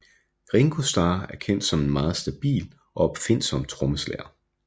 Ringo Starr er kendt som en meget stabil og opfindsom trommeslager